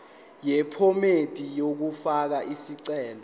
yephomedi yokufaka isicelo